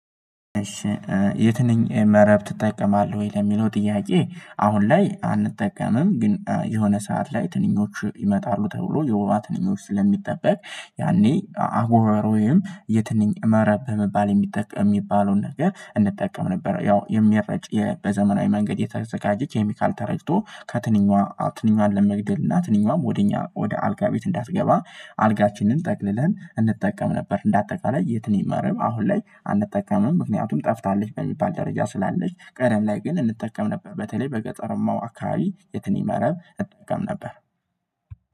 የትንኝ መረብ ትጠቀማለህ ወይ? ለሚለው ጥያቄ አሁን ላይ አንጠቀምም ግን የሆነ ሰዓት ላይ ትንኞቹ ይመጣሉ ተብሎ የውባ ትንኞቹ ስለሚጠበቅ ያኔ አጎበር የትንኝ መረብ በመባል የሚጠቅም የሚባለውን ነገር እንጠቀም ነበር። ያው የሚረጭ በዘመናዊ መንገድ የተዘጋጀች ኬሚካል ተረጭቶ ከትንኛዋ ትንኛዋን ለመግደል እና ትንኛዋም ወደ እኛ ወደ አልጋ ቤት እንዳትገባ አልጋችንን ጠቅልለን እንጠቀም ነበር። እንደ አጠቃላይ የትንኝ መርብ አሁን ላይ አንጠቀምም ምክንያቱም ጠፍታለች በሚባል ደረጃ ስላለች ቀደም ላይ ግን እንጠቀም ነበር። በተለይ በገጠረማው አካባቢ የትን ይመረብ እጠቀም ነበር።